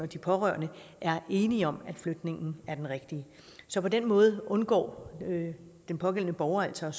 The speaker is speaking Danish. de pårørende er enige om at flytningen er den rigtige så på den måde undgår den pågældende borger altså